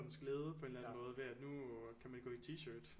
Glæde på en eller anden måde ved at nu kan man gå i t-shirt